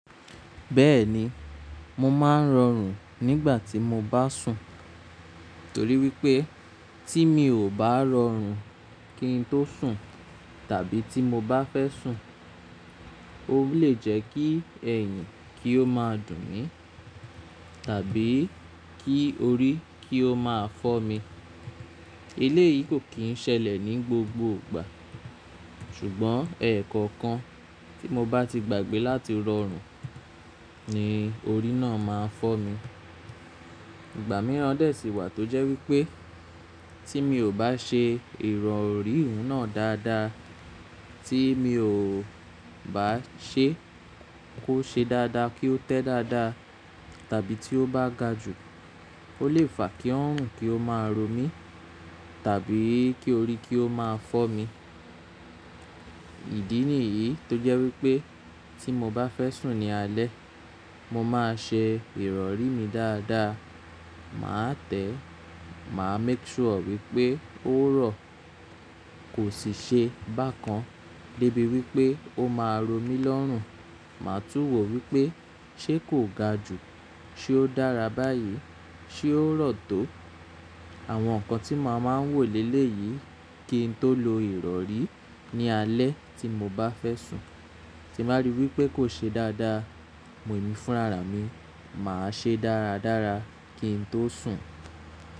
Bẹ́ẹ̀ni, mo máa ń rọrùn nígbà tí mo bá sùn, torí wípé tí mi ò bá rọrùn kí n tó sùn tàbí tí mo bá fẹ́ sùn, ó lè jẹ́ kí ẹ̀yìn kí ó máa dùn mí tàbí kí orí kí ó máa fọ́ mi. Eléyìí kò kì í ṣẹlẹ̀ ní gbogbo ìgbà, ṣùgbọ́n ẹ̀ẹ̀kọ̀kan tí mo bá ti gbàgbé láti rọrùn ni orí náà máa ń fọ́ mi. Ìgbà mìíràn dè sí wà tó jẹ́ wípé tí mi ò bá ṣe ìrọ̀rí ìhun náà dáadáa, tí mi ò bá ṣe kó ṣe dáadáa kí ó tẹ́ dáadáa tàbí tí ó bá ga jù, ó lè fà kí ọrùn kí ó máa ro mí tàbí kí orí kí ó máa fọ́ mi. Ìdí nìyìí tó jẹ́ wípé tí mo bá fẹ́ sùn ní alẹ́, mo máa ṣe ìrọ̀rí mi dáadáa. Màá tẹ̀, màá make sure wípé ó rọ̀, kò sì ṣe bákan débi wípé ó máa ro mí lọ́rùn. Màá tún wò wípé ṣé kò ga jù, ṣé ó dára báyìí, ṣé ó rọ̀ tó. Àwọn nǹkan tí mo máa ń wò lé léyìí kí n tó lo ìrọ̀rí ní alẹ́ tí mo bá fẹ́ sùn. Tí bàá rí wípé kò ṣe dáadáa, mo ní fúnra rà mí, màá ṣe dáradára kí n tó sùn.